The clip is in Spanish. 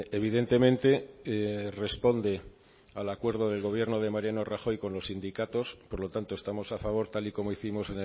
evidentemente responde al acuerdo del gobierno de mariano rajoy con los sindicatos por lo tanto estamos a favor tal y como hicimos